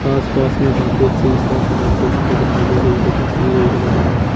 आस पास में काफी अच्छी सा सजावट यहां पर दिखाई दे रही है जो की गई है लोगों द्वारा।